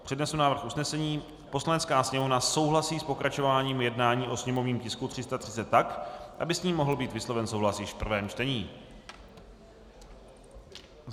Přednesu návrh usnesení: "Poslanecká sněmovna souhlasí s pokračováním jednání o sněmovním tisku 330 tak, aby s ním mohl být vysloven souhlas již v prvém čtení."